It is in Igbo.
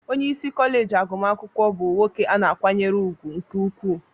Onye isi kọleji agụmakwụkwọ bụ nwoke a na-akwanyere ùgwù nke ukwuu